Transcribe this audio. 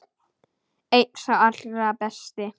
Einn sá allra besti.